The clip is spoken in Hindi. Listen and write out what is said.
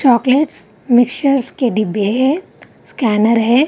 चॉकलेट्स मिक्सचर के डिब्बे है स्कैनर है।